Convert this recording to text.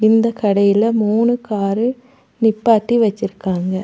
இந்த கடைல மூணு காரு நிப்பாட்டி வச்சிருக்காங்க.